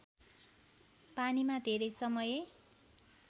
पानीमा धेरै समय